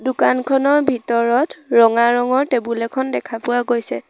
দোকানখনৰ ভিতৰত ৰঙা ৰঙৰ টেবুল এখন দেখা পোৱা গৈছে।